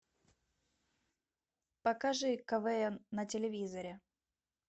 покажи квн на телевизоре